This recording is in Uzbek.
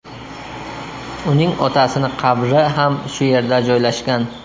Uning otasini qabri ham shu yerda joylashgan.